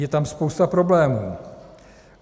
Je tam spousta problémů.